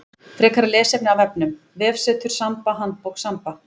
Frekara lesefni af vefnum: Vefsetur Samba Handbók Samba.